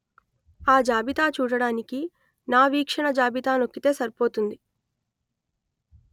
ఆ జాబితా చూడడానికి నా వీక్షణ జాబితా నొక్కితే సరిపోతుంది